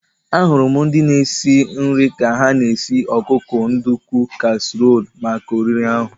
Ahụrụ m ndị na-esi nri ka ha na-esi ọkụkọ nduku kasiirọl maka oriri ahu